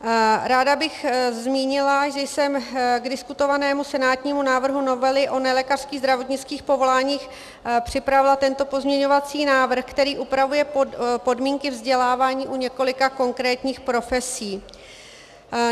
Ráda bych zmínila, že jsem k diskutovanému senátnímu návrhu novely o nelékařských zdravotnických povoláních připravila tento pozměňovací návrh, který upravuje podmínky vzdělávání u několika konkrétních profesí.